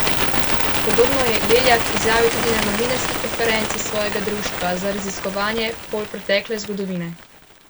Podobno je Leljak izjavil tudi na novinarski konferenci svojega Društva za raziskovanje polpretekle zgodovine.